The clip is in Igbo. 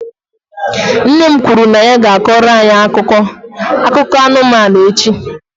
Nne m kwuru na ya ga-akọrọ anyị akụkọ akụkọ anụmanụ echi.